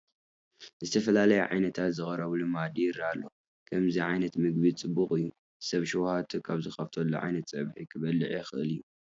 ዝተፈላለዩ ዓይነታት ዝቐረበሉ መኣዲ ይርአ ኣሎ፡፡ ከምዚ ዓይነት ምግቢ ፅቡቕ እዩ፡፡ ሰብ ሽውሃቱ ካብ ዝኸፈተሉ ዓይነት ፀብሒ ክበልዕ ይኽእል እዩ፡፡